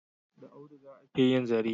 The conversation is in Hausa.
Da auduga ake yin zare.